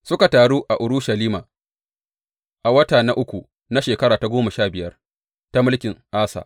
Suka taru a Urushalima a wata na uku na shekara ta goma sha biyar ta mulkin Asa.